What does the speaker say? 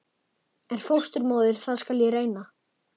En fósturmóðir það skal ég reyna.